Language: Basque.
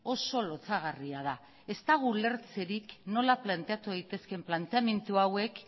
oso lotsagarria da ez dago ulertzerik nola planteatu daitezkeen planteamendu hauek